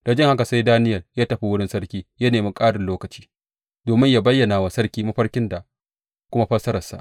Da jin haka sai Daniyel ya tafi wurin sarki ya nemi ƙarin lokaci, domin yă bayyana wa sarki mafarkin da kuma fassararsa.